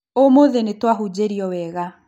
ũmũthĩ nĩtwahunjĩrio wega